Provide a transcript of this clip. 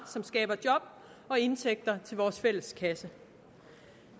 som skaber job og indtægter til vores fælles kasse